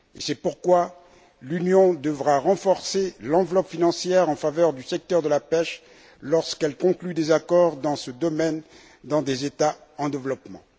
C'est pourquoi l'Union devra renforcer l'enveloppe financière en faveur du secteur de la pêche lorsqu'elle conclut des accords dans ce domaine dans des États en développement.